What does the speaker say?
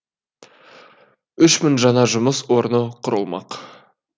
үш мың жаңа жұмыс орны құрылмақ